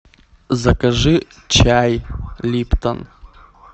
закажи чай липтон